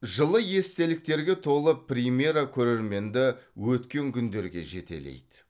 жылы естеліктерге толы премьера көрерменді өткен күндерге жетелейді